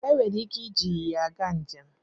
E nwere ike iji ịnyịnya aga njem.